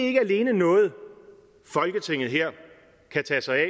ikke længere noget folketinget her kan tage sig af